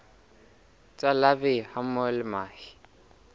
tsa larvae hammoho le mahe